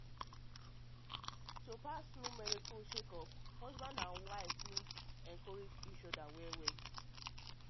to pass through medical um checkup husband and wife need um encourage each other well you um know i swear.